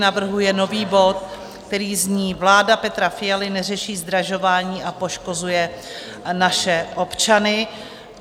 Navrhuje nový bod, který zní: Vláda Petra Fialy neřeší zdražování a poškozuje naše občany.